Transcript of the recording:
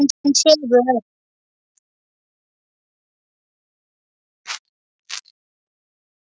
Pabbi þinn sefur.